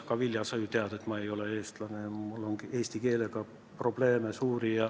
Aga, Vilja, sa ju tead, et ma ei ole eestlane ja mul on eesti keelega suuri probleeme.